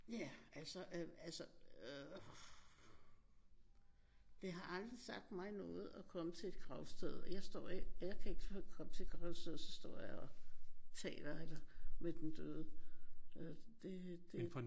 Ja altså øh altså øh det har aldrig sagt mig noget at komme til et gravsted. Jeg står ikke jeg kan ikke komme til et gravsted og så står jeg og taler eller med den døde øh det det